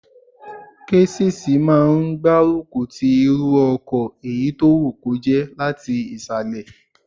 Késìsì máa n gbárùkù ti irú ọkọ̀ èyí tó wù kó jẹ́ láti ìsàlẹ̀